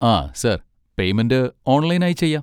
ആ, sir payment online ആയി ചെയ്യാം.